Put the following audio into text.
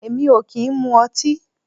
Èmi o ki n mu ọti